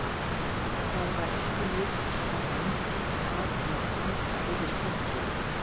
Það var ekki mikils að vænta af að aka yfir fjallið.